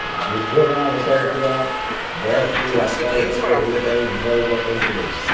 ଦୁର୍ଘଟଣା ଘଟାଇଥିବା ବସ୍କୁ ରାସ୍ତା ଉପରେ ଓଲଟାଇ ଭଙ୍ଗାରୁଜା କରିଥିଲେ